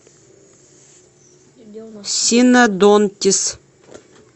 синодонтис